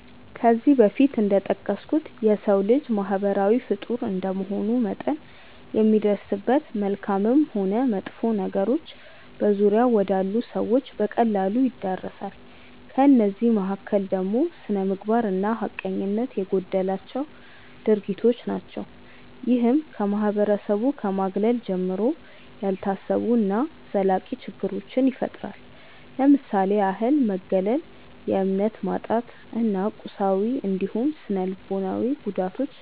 ከዚህ በፊት እንደጠቀስኩት የሰው ልጅ ማህበራዊ ፍጡር እንደመሆኑ መጠን የሚደርስበት መልካምም ሆን መጥፎ ነገሮች በዙሪያው ወዳሉ ሰዎች በቀላሉ ይዳረሳል። ከእነዚህ መካከል ደግሞ ስነምግባር እና ሀቀኝነት የጎደላቸው ድርጊቶች ናቸው። ይህም ከማህበረሰቡ ከማግለል ጀምሮ፣ ያልታሰቡ እና ዘላቂ ችግሮችን ይፈጥራል። ለምሳሌ ያህል መገለል፣ የእምነት ማጣት እና የቁሳዊ እንዲሁም ስነልቦናዊ ጉዳቶች